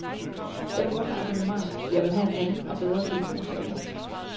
Jeg vil godt have abonnementet, men jeg vil have en anden og bedre telefon, sagde jeg.